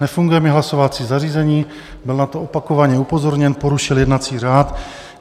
Nefunguje mi hlasovací zařízení, byl na to opakovaně upozorněn, porušil jednací řád.